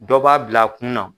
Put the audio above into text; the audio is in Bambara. Dɔ b'a bila kunna.